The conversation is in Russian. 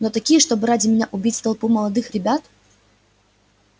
но такие чтобы ради меня убить толпу молодых ребят